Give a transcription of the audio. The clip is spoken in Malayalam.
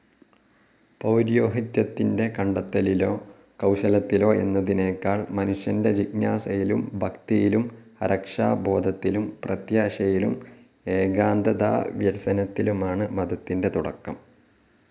പൌരോഹിത്യത്തിൻ്റെ കണ്ടെത്തലിലോ കൌശലത്തിലോ എന്നതിനേക്കാൾ മനുഷ്യൻ്റെ ജിജ്ഞാസയിലും, ഭക്തിയിലും, അരക്ഷാബോധത്തിലും, പ്രത്യാശയിലും, ഏകാന്തതാവ്യസനത്തിലുമാണ് മതത്തിൻ്റെ തുടക്കം.